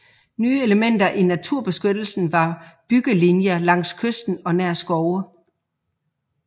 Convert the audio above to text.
Nye elementer i naturbeskyttelsen var byggelinjer langs kysten og nær skove